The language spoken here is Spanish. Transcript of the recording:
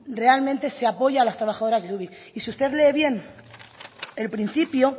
realmente se apoya a las trabajadoras de ubik y si usted lee bien el principio